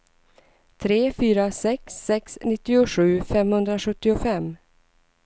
tre fyra sex sex nittiosju femhundrasjuttiofem